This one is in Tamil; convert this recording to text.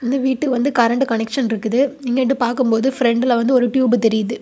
இந்த வீட்டுக்கு வந்து கரண்ட் கனெக்சன் இருக்குது இங்க நிண்டு பார்க்கும்போது பிரெண்டுல வந்து ஒரு டியூப் தெரியுது.